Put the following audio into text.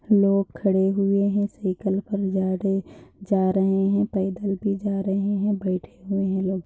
लोग खड़े हुए हैं साइकिल पर जा रहे जा रहे हैं पैदल भी जा रहे है बैठे हुए है लोग।